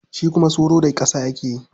Shi kuma soro da ƙasa ake yin sa.